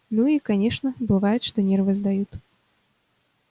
ну и конечно бывает что нервы сдают